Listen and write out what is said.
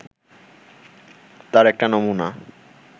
তার একটা নমুনা